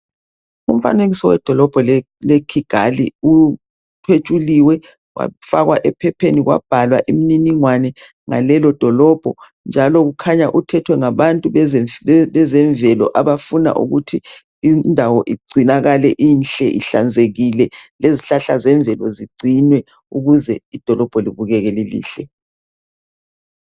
Umfanekiso wedolobha le Kigali kuthetshuliwe kwafakwa ephepheni kwabhalwa imniningwano ngalelo dolobho njalo kukhanya kuthethwe ngabantu bezemvelo abafuna ukuthi indawo ingcinakale inhle ihlanzekile lezihlahla zemvelo zigcinwe ukuze idolobho libukeke lilihle.